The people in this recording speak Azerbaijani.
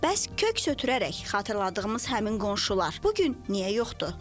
Bəs kök səthürərək xatırladığımız həmin qonşular bu gün niyə yoxdur?